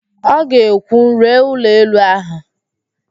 Ọ ga-ekwu, ree ụlọelu áhụ̀!